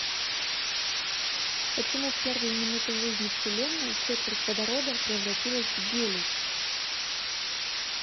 почему в первые минуты жизни вселенной четверть водорода превратилась в гелий